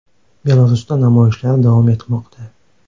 Belarusda namoyishlar davom etmoqda.